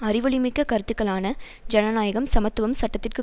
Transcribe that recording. அறிவொளிமிக்க கருத்துக்களான ஜனநாயகம் சமத்துவம் சட்டத்திற்கு